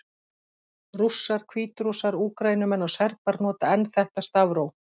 Rússar, Hvítrússar, Úkraínumenn og Serbar nota enn þetta stafróf.